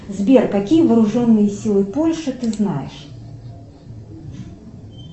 сбер какие вооруженные силы польши ты знаешь